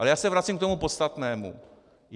Ale já se vracím k tomu podstatnému.